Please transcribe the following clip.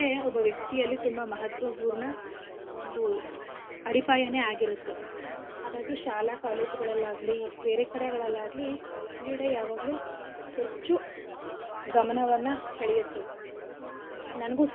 ಮಾಡ್ತ ಇದ್ವಿ ಹಾಗಾಗಿ ಕ್ರೀಡೆ ಒಬ್ಬ ವ್ಯಕ್ತಿಯಲ್ಲಿ ತುಂಬಾ ಮಹತ್ವಪೂರ್ಣ ಒಂದು ಅಡಿಪಾಯನೆ ಆಗಿರತ್ತೆ ಹಾಗಾಗಿ ಶಾಲಾ college ಗಳಲ್ಲಾಗ್ಲಿ ಬೇರೆಕಡೆಗಳಲ್ಲಾಗ್ಲಿ ಕ್ರೀಡೆ ಯಾವಾಗ್ಲೂ ಹೆಚ್ಚು ಗಮನವನ್ನ ಸೇಳಿಯತ್ತೆ ನನ್ಗೂ.